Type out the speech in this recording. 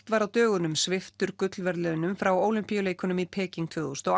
var á dögunum sviptur gullverðlaunum frá Ólympíuleikunum í Peking tvö þúsund og